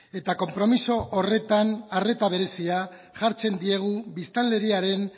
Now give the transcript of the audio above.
eta konpromiso horretan arreta berezia jartzen diegu biztanleriaren